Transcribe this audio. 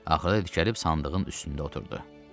Axırda dikəlib sandığın üstündə oturdu.